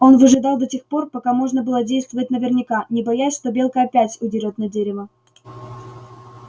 он выжидал до тех пор пока можно было действовать наверняка не боясь что белка опять удерёт на дерево